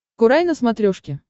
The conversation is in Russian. курай на смотрешке